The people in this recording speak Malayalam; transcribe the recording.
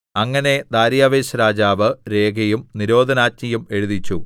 അങ്ങനെ ദാര്യാവേശ്‌ രാജാവ് രേഖയും നിരോധനാജ്ഞയും എഴുതിച്ചു